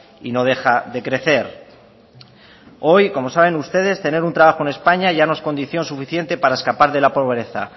y no deja de crecer hoy como saben ustedes tener un trabajo en españa ya no es condición suficiente para escapar de la pobreza